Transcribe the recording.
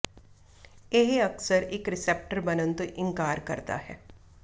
ਇਹ ਅਕਸਰ ਇੱਕ ਰੀਸੈਪਟਰ ਬਣਨ ਤੋਂ ਇਨਕਾਰ ਕਰਦਾ ਹੈ